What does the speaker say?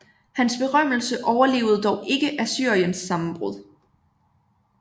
Hans berømmelse overlevede dog ikke Assyriens sammenbrud